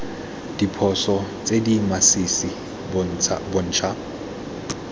diphoso tse di masisi bontsha